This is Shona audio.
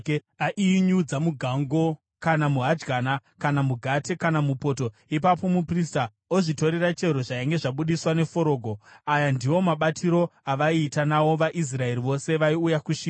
Aiinyudza mugango, kana muhadyana, kana mugate kana mupoto, ipapo muprista ozvitorera chero zvainge zvabudiswa neforogo. Aya ndiwo mabatiro avaiita nawo vaIsraeri vose vaiuya kuShiro.